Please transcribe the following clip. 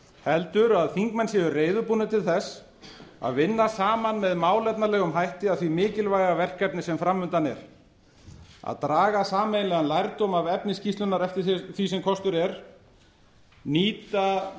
heldur að þingmenn séu reiðubúnir til þess að vinna saman með málefnalegum hætti að því mikilvæga verkefni sem fram undan er að draga sameiginlegan lærdóm af efni skýrslunnar eftir því sem kostur nýta